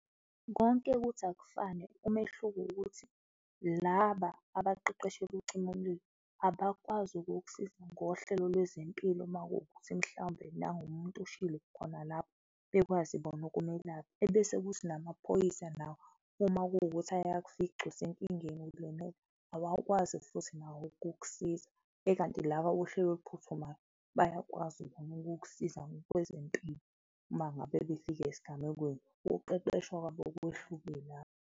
Konke kuthi akufane, umehluko ukuthi laba abaqeqeshelwe ukucima umlilo, abakwazi ukukusiza ngohlelo lwezempilo makuwukuthi mhlawumbe nangumuntu oshile khona lapho, bekwazi bona ukumelapha. Ebese kuthi namaphoyisa nawo uma kuwukuthi ayakufica usenkingeni ulimele, awakwazi futhi nawo ukukusiza ekanti laba bohlelo oluphuthumayo bayakwazi bona ukukusiza ngokwezempilo uma ngabe befika esigamekweni, ukuqeqeshwa kwabo kwehluke lapho.